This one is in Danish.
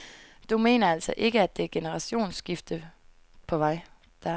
Du mener altså ikke, at der et generationsskifte på vej?